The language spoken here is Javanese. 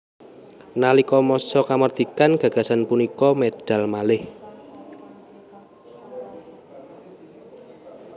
Nalika masa kamardikan gagasan punika medal malih